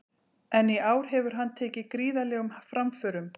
En í ár hefur hann tekið gríðarlegum framförum.